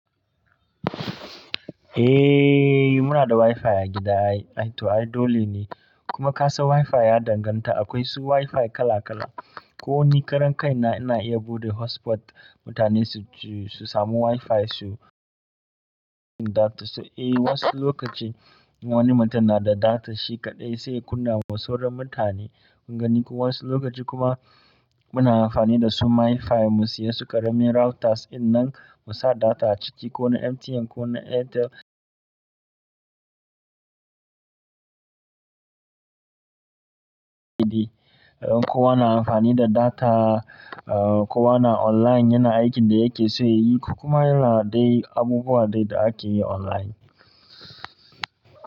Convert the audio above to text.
Eh, muna da Wi-Fi a gida ai, ai to ai dole ne. Kuma kasan Wi-Fi ya danganta akwai su Wi-Fi kala kala. Ko wani karen kai na, ina iya buɗe hotspot mutane su ji, su samu Wi-Fi su, data su. Eh wasu lokaci wani mutum na da data shi kaɗai sai kunne wa sauran mutane. Ko wasu lokaci kuma muna amfani da su Mi-Fi mu siya su karamin routers in nan mu sa data a ciki ko na MTN ko na Airtel. Kowa na amfani da data, ko wana online yana aikin da yake so yayi, kuma yana dai abubuwa dai da ake yi online.